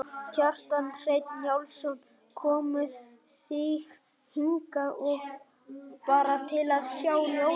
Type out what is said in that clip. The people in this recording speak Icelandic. Kjartan Hreinn Njálsson: Komuð þið hingað bara til að sjá ljósin?